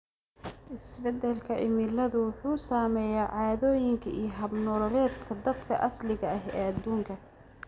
Isbeddelka cimiladu wuxuu saameeyaa caadooyinka iyo hab-nololeedka dadka asaliga ah ee adduunka.